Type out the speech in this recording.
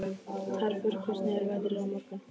Tarfur, hvernig er veðrið á morgun?